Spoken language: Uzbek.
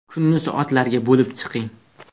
Kunni soatlarga bo‘lib chiqing.